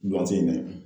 A tɛ ɲɛ